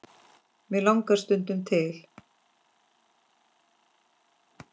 mig langar stundum til.